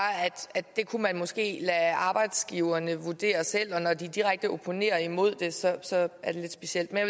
at det kunne man måske lade arbejdsgiverne vurdere selv og når de direkte opponerer imod det så så er det lidt specielt men